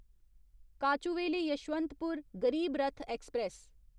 Kochuveli Yesvantpur Garib Rath express